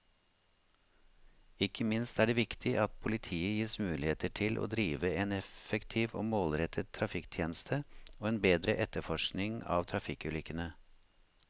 Ikke minst er det viktig at politiet gis muligheter til å drive en effektiv og målrettet trafikktjeneste og en bedre etterforskning av trafikkulykkene.